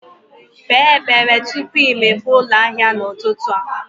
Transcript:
Kpee ekpere tupu i mepee ụlọ ahịa n'ụtụtụ a.